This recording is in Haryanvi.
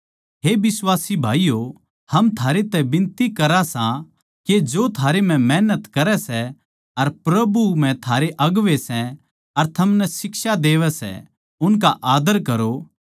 हे बिश्वासी भाईयो हम थारै तै बिनती करा सां के जो थारै म्ह मेहनत करै सै अर प्रभु म्ह थारे अगुवें सै अर थमनै शिक्षा देवैं सै उनका आद्दर करो